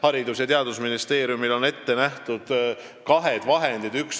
Haridus- ja Teadusministeeriumil on siin ette nähtud kahte tüüpi vahendid.